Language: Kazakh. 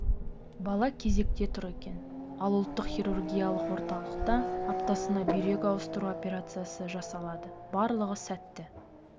бала кезекте тұр екен ал ұлттық хирургиялық орталықта аптасына бүйрек ауыстыру операциясы жасалады барлығы сәтті